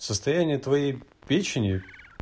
состояние твоей печени